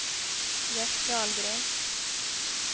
Gert Dahlgren